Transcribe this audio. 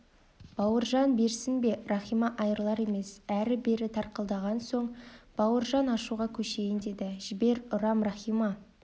бауыржан берсін бе рахима айырылар емес әрі-бері тартқылаған соң бауыржан ашуға көшейін деді жібер ұрам рахима